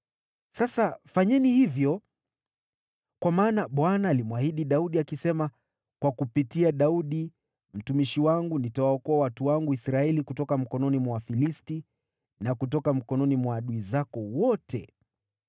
Sasa fanyeni hivyo! Kwa maana Bwana alimwahidi Daudi akisema, ‘Kwa kupitia Daudi mtumishi wangu nitawaokoa watu wangu Israeli kutoka mikononi mwa Wafilisti na kutoka mikononi mwa adui zako wote.’ ”